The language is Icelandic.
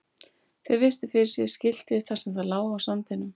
Þeir virtu fyrir sér skiltið þar sem það lá á sandinum.